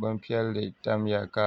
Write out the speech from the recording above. bin piɛli tamya ka